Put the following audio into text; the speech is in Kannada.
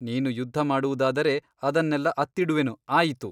ನೀನು ಯುದ್ಧ ಮಾಡುವುದಾದರೆ ಅದನ್ನೆಲ್ಲ ಅತ್ತಿಡುವೆನು ಆಯಿತು.